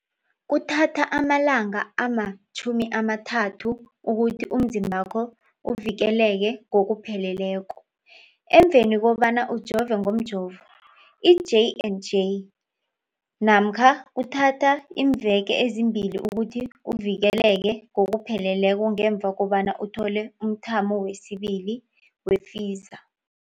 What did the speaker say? Kuthatha amalanga ama-30 ukuthi umzimbakho uvikeleke ngokupheleleko emveni kobana ujove ngomjovo i-J and J namkha kuthatha iimveke ezimbili ukuthi uvikeleke ngokupheleleko ngemva kobana uthole umthamo wesibili wePfizer.